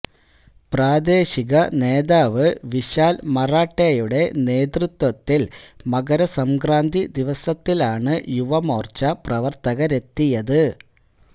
പ്രാദേശിക നേതാവ് വിശാൽ മറാഠേ യുടെ നേതൃത്വത്തിൽ മകരസംക്രാന്തി ദിവസത്തിലാണു യുവമോർച്ച പ്രവർത്തകരെത്തിയത്